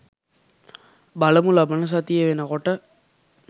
බලමු ලබන සතිය වෙනකොට